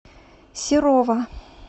серова